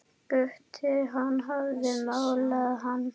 Gutta, hann hafði malað hann.